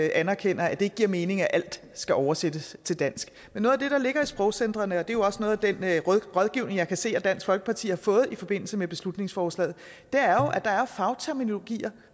anerkender at det ikke giver mening at alt skal oversættes til dansk men noget af det der ligger i sprogcentrene det er jo også noget af den rådgivning jeg kan se at dansk folkeparti har fået i forbindelse med beslutningsforslaget er jo at der er fagterminologier